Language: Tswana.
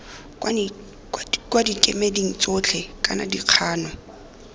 kwa dikemeding tsotlhe kana dikgano